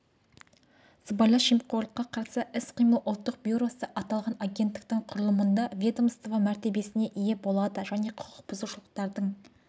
сыбайлас жемқорлыққа қарсы іс-қимыл ұлттық бюросы аталған агенттіктің құрылымында ведомство мәртебесіне ие болады және құқық бұзушылықтардың